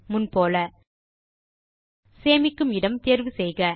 முன்போல் சேமிக்கும் இடம் தேர்வு செய்க